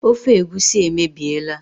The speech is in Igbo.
Ofe egusi emebiela